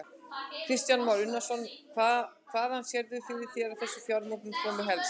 Kristján Már Unnarsson: Hvaðan sérðu fyrir þér að þessi fjármögnun komi helst?